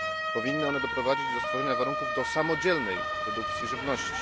Powinny one doprowadzić do stworzenia warunków do samodzielnej produkcji żywności.